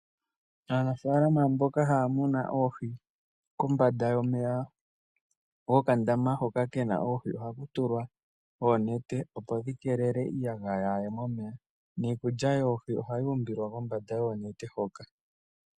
Aanafalama mboka haya muna oohi, kombanda yomeya gokandama hoka ke na oohi, ohaku tulwa oonete opo dhi kelele iiyagaya yaa ye momeya. Niikulya yoohi ohayi umbilwa kombanda yoonete hoka.